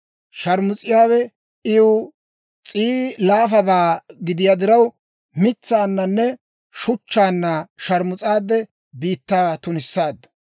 Sharmus'iyaawe iw s'ii laafabaa gidiyaa diraw, mitsaananne shuchchaanna sharmus'aade biittaa tunissaaddu.